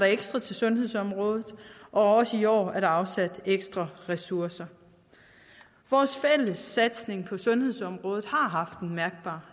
ekstra til sundhedsområdet og også i år er der afsat ekstra ressourcer vores fælles satsning på sundhedsområdet har haft en mærkbar